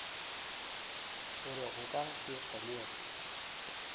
gore go ka se kgonege